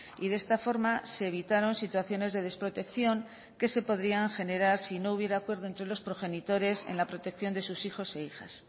y de esta forma se evitaron situaciones de desprotección que se podrían generar si no hubiera acuerdo entre los progenitores en la protección de sus hijos e hijas